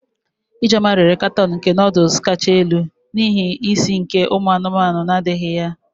Ijeoma rere katoon nke noodles kacha elu, n'ihi isi nke umu anumanu na-adighi ya.